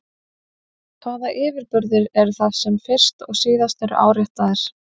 En hvaða yfirburðir eru það sem fyrst og síðast eru áréttaðir?